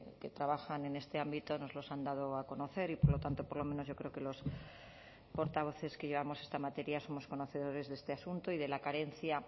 que trabajan en este ámbito nos los han dado a conocer y por lo tanto por lo menos yo creo que los portavoces que llevamos esta materia somos conocedores de este asunto y de la carencia